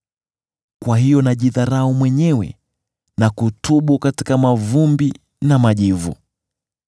Kwa hiyo najidharau mwenyewe, na kutubu katika mavumbi na majivu.”